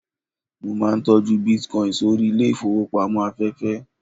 mo ma n tọju bitcoin sórí ilẹ ifowópamọ́ aféfé